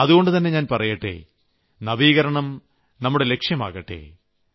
അതുകൊണ്ടുതന്നെ ഞാൻ പറയട്ടെ നവീകരണം നമ്മുടെ ലക്ഷ്യമാകട്ടെ